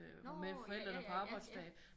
Nårh ja ja ja ja